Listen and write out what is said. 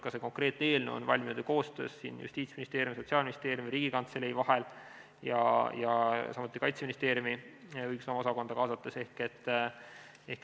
Ka see konkreetne eelnõu on valminud Justiitsministeeriumi, Sotsiaalministeeriumi ja Riigikantselei koostöös, samuti Kaitseministeeriumi õigusosakonda kaasates.